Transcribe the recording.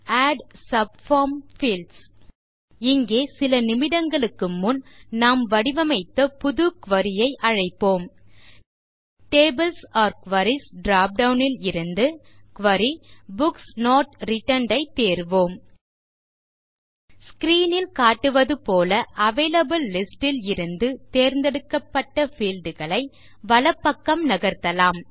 add subform fields இங்கே சில நிமிடங்களுக்கு முன் நாம் வடிவமைத்த புது குரி ஐ அழைப்போம் டேபிள்ஸ் ஒர் குரீஸ் ட்ராப்டவுன் ல் இருந்து Query புக்ஸ் நோட் ரிட்டர்ன்ட் ஐ தேர்வோம் ஸ்க்ரீன் ல் காட்டுவது போல அவைலபிள் லிஸ்ட் ல் இருந்து தேர்ந்தெடுக்கப்பட்ட பீல்ட் களை வலப்பக்கம் நகர்த்தலாம்